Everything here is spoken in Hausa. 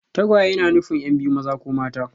Tagwaye na nufin yan' biyu mata ko maza.